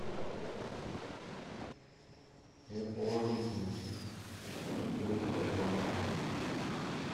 я положил тебе на телефон как придут отзвонись